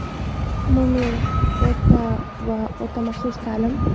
Umumiy o‘rta va o‘rta maxsus ta’lim;.